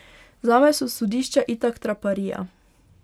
Zame so sodišča itak traparija.